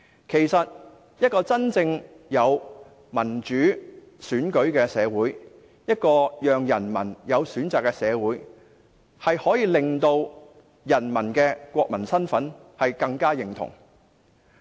其實，一個真正有民主選舉的社會，一個讓人民有選擇的社會，可以增加人民對國民身份的認同。